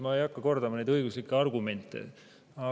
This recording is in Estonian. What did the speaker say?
Ma ei hakka neid õiguslikke argumente kordama.